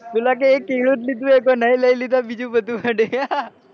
પેલો કે એક કેળું લીધું હે નહી લઇ લીધું બધું